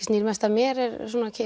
snýr mest að mér eru